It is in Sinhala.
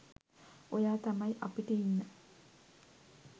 ඔයා තමයි අපිට ඉන්න